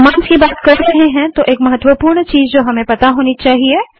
जब कमांड्स की बात कर रहे हैं तो एक महत्वपूर्ण चीज़ जो हमें पता होनी चाहिए